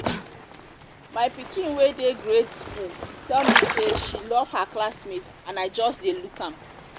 my pikin wey dey grade school tell me say she love her classmate and i just dey look am